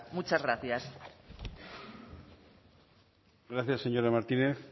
muchas gracias gracias señora martínez